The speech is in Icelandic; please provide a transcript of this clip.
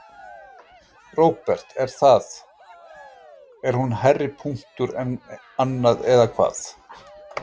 Róbert: Er það, er hún hærri punktur en annað eða hvað?